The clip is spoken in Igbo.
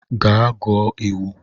Gaa gụọ iwu.